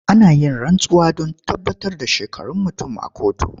Ana yin rantsuwa don tabbatar da shekarun mutum a kotu.